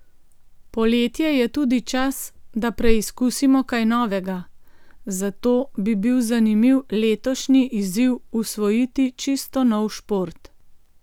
Poletje je tudi čas, da preizkusimo kaj novega, zato bi bil zanimiv letošnji izziv usvojiti čisto nov šport.